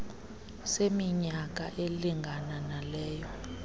seminyaka elingana naleyo